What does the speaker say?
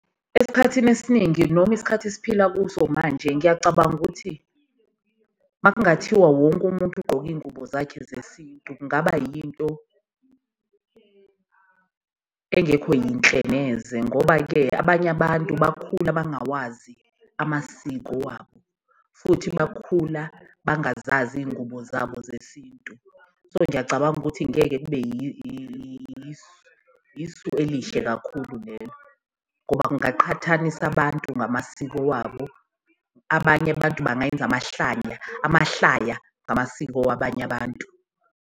Esikhathini esiningi noma isikhathi esiphila kuso manje ngiyacabanga ukuthi makungathiwa wonke umuntu ugqoke iyingubo zakhe zesintu, kungaba yinto yakhe engekho yinhle neze. Ngoba-ke abanye abantu bakhula bangawazi amasiko wabo futhi bakhula bangazazi iyingubo zabo zesintu, so ngiyacabanga ukuthi ngeke kube isu elihle kakhulu lelo ngoba kungaqhathanisa abantu ngamasiko wabo. Abanye abantu bangayenza amahlanya, amahlaya ngamasiko wabanye abantu.